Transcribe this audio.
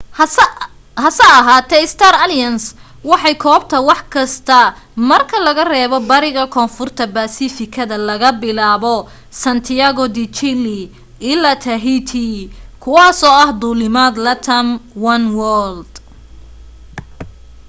hase ahaatee star alliance waxay koobtaa wax kasta marka laga reebo bariga koonfurta baasifikada laga bilaabo santiago de chile ilaa tahiti kuwaasoo ah duulimaad latam oneworld